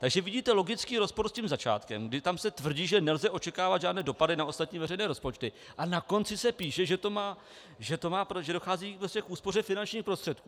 Takže vidíte logický rozpor s tím začátkem, kdy tam se tvrdí, že nelze očekávat žádné dopady na ostatní veřejné rozpočty, a na konci se píše, že dochází k úspoře finančních prostředků.